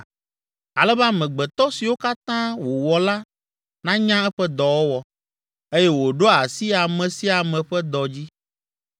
Ale be amegbetɔ siwo katã wòwɔ la nanya eƒe dɔwɔwɔ, eye wòɖoa asi ame sia ame ƒe dɔ dzi.